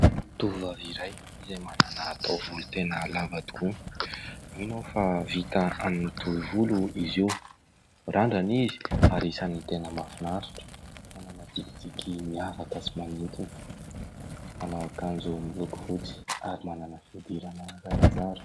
Tovovavy iray izay manana taovolo tena lava tokoa, mino aho fa vita amin'ny tohi-volo izy io, mirandrana izy ary isany tena mahafinaritra, manana tsikitsiky miavaka sy manintona, manao akanjo miloko fotsy ary manana fihodirana zarazara.